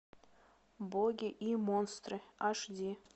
боги и монстры ашди